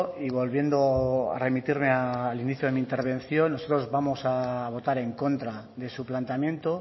y volviendo a remitirme al inicio de mi intervención nosotros vamos a votar en contra de su planteamiento